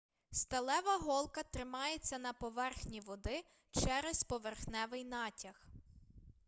сталева голка тримається на поверхні води через поверхневий натяг